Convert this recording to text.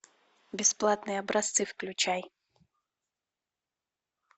бесплатные образцы включай